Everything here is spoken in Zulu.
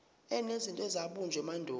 enezinto ezabunjwa emandulo